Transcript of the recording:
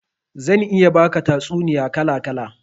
Zan iya baka tatsuniya kala kala